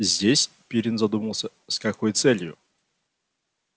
здесь пиренн задумался с какой целью